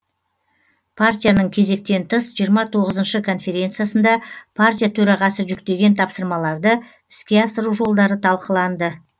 партияның кезектен тыс жиырма тоғызыншы конференциясында партия төрағасы жүктеген тапсырмаларды іске асыру жолдары талқыланды